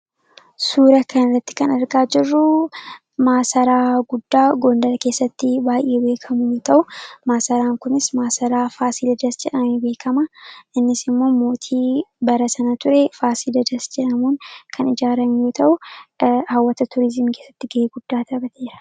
Suura kana irratti kan argaa jirruu, maasaraa guddaa gondar keessatti baayyee beekamu yoo ta'u maasaraan kunis maasaraa Faasiliidas jedhamuun beekama. Innis immoo mootii bara sana ture Faasiliidas jedhamuun kan ijaarame yoo ta'u hawwata turizimii keessatti gahee guddaa taphateera.